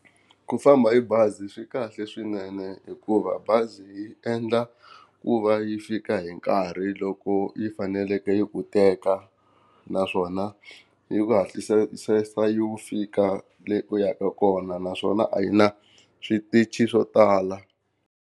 Ku famba hi bazi swi kahle swinene hikuva bazi yi endla ku va yi fika hi nkarhi loko yi faneleke yi ku teka, naswona yi ku hatlisisa yi fika leni u yaka kona naswona a yi na switichi swo tala.